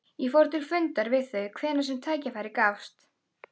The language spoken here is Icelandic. Ég fór til fundar við þau hvenær sem tækifæri gafst.